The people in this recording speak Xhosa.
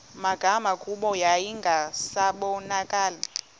magama kuba yayingasabonakali